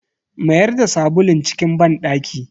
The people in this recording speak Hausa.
Mayar da sabulun cikin banɗaki.